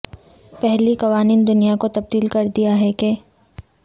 پہلی قوانین دنیا کو تبدیل کر دیا ہے کہ